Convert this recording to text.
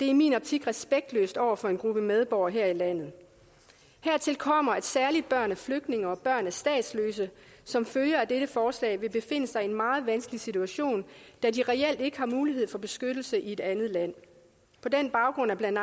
i min optik respektløst over for en gruppe medborgere her i landet hertil kommer at særlig børn af flygtninge og børn af statsløse som følge af dette forslag vil befinde sig i en meget vanskelig situation da de reelt ikke har mulighed for beskyttelse i et andet land på den baggrund er blandt